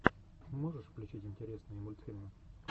можешь включить интересные мультфильмы